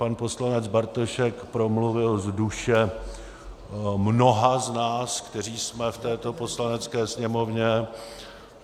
Pan poslanec Bartošek promluvil z duše mnoha z nás, kteří jsme v této Poslanecké sněmovně.